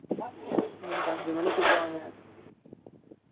எனக்கு அன்சு மனிக்கு விடுவாங்க